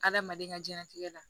Adamaden ka diɲɛnatigɛ la